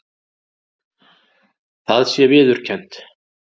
Það sé viðurkennt